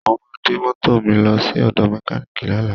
Mo máa gbé mọ́tò mi lọ sí ọ̀dọ mẹkánììkì lọ́lM